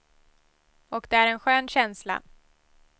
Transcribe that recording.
Och det är en skön känsla.